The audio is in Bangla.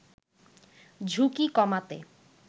ঝুঁকি কমাতে